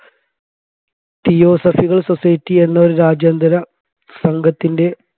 തിയോസഫികൾ society എന്ന ഒരു രാജ്യാന്തരസംഗത്തിൻെറ